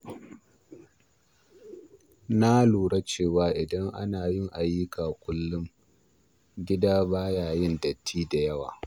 Na lura cewa idan ana yin ayyuka kullum, gida ba ya yin datti da yawa.